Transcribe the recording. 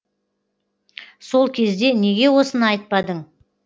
сол кезде неге осыны айтпадың